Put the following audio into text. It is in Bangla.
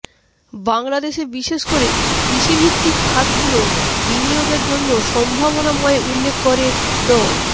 বাংলাদেশে বিশেষ করে কৃষি ভিত্তিক খাতগুলো বিনিয়োগের জন্য সম্ভাবনাময় উল্লেখ করে ড